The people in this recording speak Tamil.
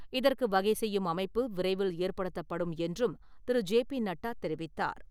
இதற்கு வகை செய்யும் அமைப்பு விரைவில் ஏற்படுத்தப்படும் என்றும் திரு ஜே பி நட்டா தெரிவித்தார்.